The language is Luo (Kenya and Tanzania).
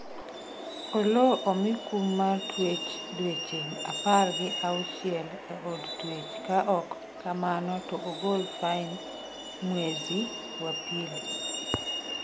Oloo omi kum mar twech dweche apar gi auchiel e od tuech ka ok kamano to ogol fain mwezi wa pili